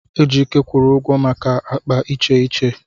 Ejike kwụrụ ụgwọ maka akpa iche iche.